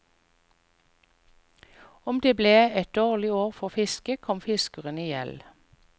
Om det ble et dårlig år for fiske, kom fiskeren i gjeld.